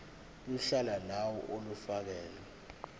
uhla lawo olufakelwe